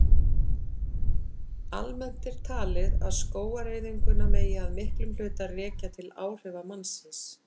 Almennt er talið að skógaeyðinguna megi að miklum hluta rekja til áhrifa mannsins.